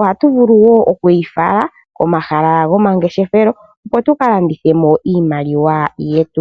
Ohatu vulu wo oku yi fala komahala gomangeshefelo, opo tuka landithe mo iimaliwa yetu.